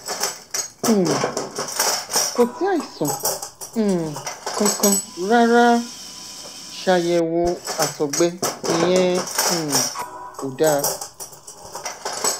um kò sí àìsàn um kankan rárá a ṣàyèwò àtọgbẹ ìyẹn um kò dáa